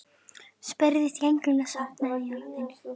spurði drengurinn og sofnaði í orðinu.